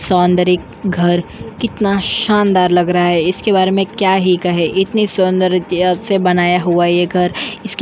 सौंदर्य घर कितना शानदार लग रहा है। इसके बारे में क्या ही कहे? इतनी सौंदर्य कि अब से बनाया हुआ ये घर इसके --